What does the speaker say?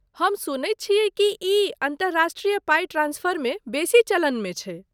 हम सुनैत छियै कि ई अन्तर्राष्ट्रीय पाइ ट्रांस्फरमे बेसी चलनमे छै?